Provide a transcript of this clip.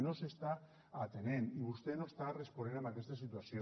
no s’està atenent i vostè no està responent en aquesta situació